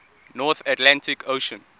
north atlantic ocean